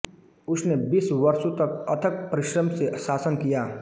उसने बीस वर्षों तक अथक परिश्रम से शासन किया